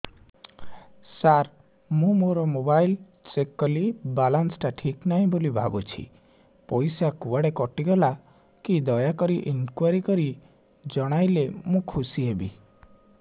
ସାର ମୁଁ ମୋର mobile check କଲି ବାଲାନ୍ସ ଟା ଠିକ ନାହିଁ ବୋଲି ଭାବୁଛି ପଇସା କୁଆଡେ କଟି ଗଲା କି ଦୟାକରି ଇନକ୍ୱାରି କରି ଜଣାଇଲେ ମୁଁ ଖୁସି ହେବି